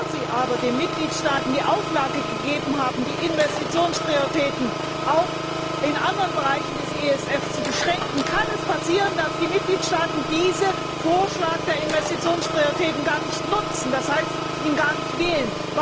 Da Sie aber den Mitgliedstaaten die Auflage gegeben haben, die Investitionsprioritäten auch in anderen Bereichen des ESF zu beschränken, kann es passieren, dass die Mitgliedstaaten diesen Vorschlag der Investitionsprioritäten gar nicht nutzen, das heißt, ihn gar nicht wählen.